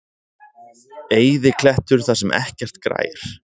Eyðiklettur þar sem ekkert grær.